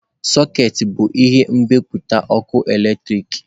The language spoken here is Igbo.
Sọkeetị bụ ihe mgbapụta ọkụ eletrik.